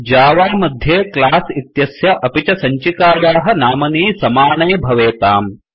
Java मध्ये class इत्यस्य अपि च सञ्चिकायाः नामनी समाने भवेताम्